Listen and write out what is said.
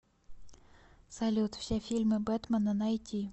салют все фильмы бетмена найти